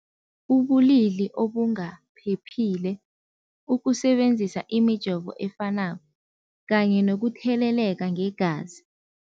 Ubulili obungaphephile, ukusebenzisa imijovo efanako kanye nokutheleleka ngegazi.